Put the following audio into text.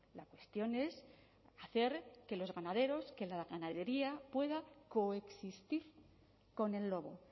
la cuestión es hacer que los ganaderos que la ganadería pueda coexistir con el lobo